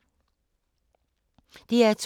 DR2